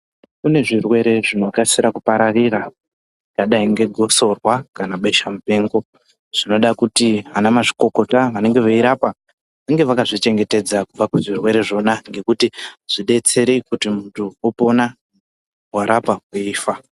Kune zvirwere zvinokasira kupararira zvakadai ngegotsorwa kana besha mupengo zvinoda kuti ana mazvikokota vanenge veirapa vange vakazvichengetedza kubva kuzvirwere zvina ngekuti zvidetsere kuti muntu opona warapa eifa.